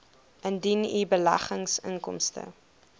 indien u beleggingsinkomste